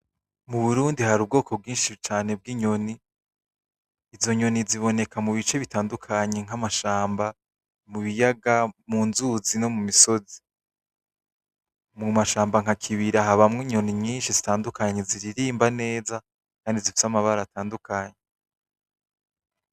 Mu Burundi hari ubwoko bwinshi cane bw'inyoni. Izo nyoni ziboneka mu bice bitandukanye nk'amashamba, mu biyaga, mu nzuzi no mu misozi. Mu mashamba nka Kibira habamwo inyoni nyinshi zitandukanye ziririmba neza kandi zifise amabara atandukanye.